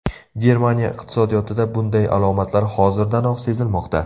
Germaniya iqtisodiyotida bunday alomatlar hozirdanoq sezilmoqda.